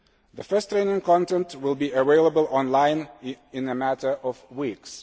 The first training content will be available online in a matter of weeks.